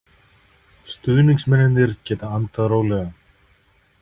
Stuðningsmennirnir geta andað rólega.